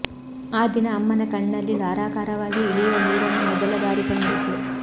ಆ ದಿನ ಅಮ್ಮನ ಕಣ್ಣಲ್ಲಿ ಧಾರಾಕಾರವಾಗಿ ಇಳಿಯುವ ನೀರನ್ನು ಮೊದಲ ಬಾರಿ ಕಂಡಿದ್ದೆ